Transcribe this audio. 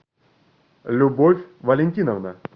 любовь валентиновна